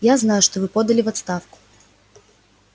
я знаю что вы подали в отставку